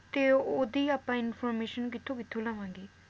ਤਾਂ ਓਹਦੀ ਆਪਾਂ information ਕਿਥੋਂ-ਕਿਥੋਂ ਲਵਾਂਗੇ?